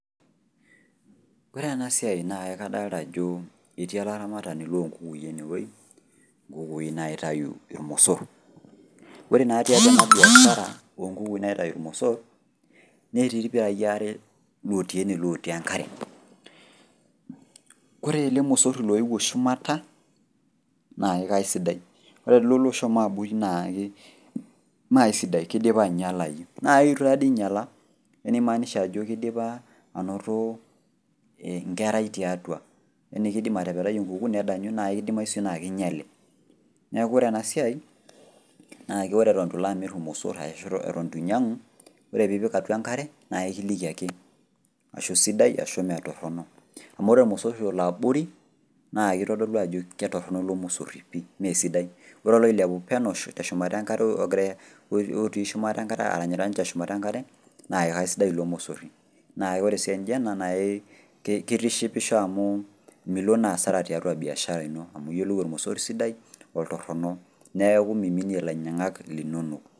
Kore ena siai naa kadolita ajo etii olaramatani loo nkukui ene wueji, nkukui naitayu ilmosor. Ore naa tiatua ena biashara, o nkukui naitayu ilmosor netii ilpirai aare lotii ene lotii enkare. Kore ele mosori loewuo shumata naa kaisida ore kulo lotii abori naake Mee AI sidai